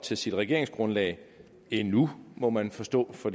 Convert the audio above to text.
til sit regeringsgrundlag endnu må man forstå for